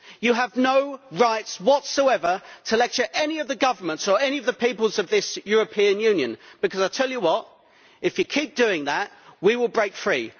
You have no right whatsoever to lecture any of the governments or any of the peoples of this European Union, because if you keep doing that, we will break free.